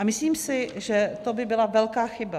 A myslím si, že to by byla velká chyba.